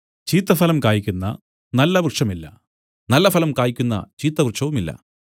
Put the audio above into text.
ചീത്തഫലം കായ്ക്കുന്ന നല്ല വൃക്ഷമില്ല നല്ലഫലം കായ്ക്കുന്ന ചീത്ത വൃക്ഷവുമില്ല